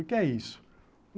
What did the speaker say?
O que é isso?